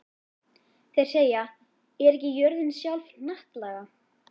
Þeir segja: Er ekki jörðin sjálf hnattlaga?